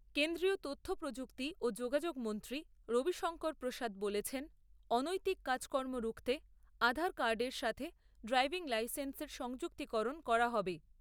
কেন্দ্রীয় তথ্যপ্রযুক্তি ও যোগাযোগ মন্ত্রী রবিশংকর প্রসাদ বলেছেন, অনৈতিক কাজকর্ম রুখতে আধার কার্ডের সাথে ড্রাইভিং লাইসেন্সের সংযুক্তিকরণ করা হবে।